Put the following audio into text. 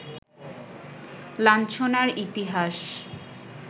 লাঞ্ছনার ইতিহাস